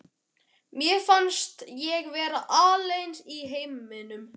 Mér fannst ég vera alein í heiminum.